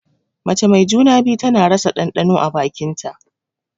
Mace mai juna-biyu tana rasa ɗanɗano a bakin ta.